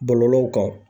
Bɔlɔlɔw kan